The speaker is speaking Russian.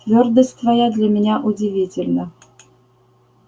твёрдость твоя для меня удивительна